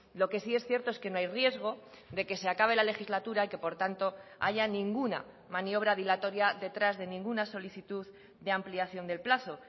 lo que sí es cierto es que no hay riesgo de que se acabe la legislatura y que por tanto haya ninguna maniobra dilatoria detrás de ninguna solicitud de ampliación del plazo